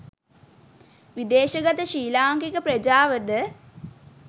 විදේශගත ශ්‍රී ලාංකික ප්‍රජාවද